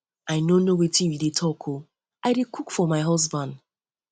i no know wetin you dey talk oo i dey cook um for my husband